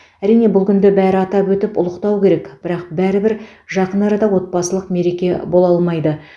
әрине бұл күнді бәрі атап өтіп ұлықтау керек бірақ бәрібір жақын арада отбасылық мереке бола алмайды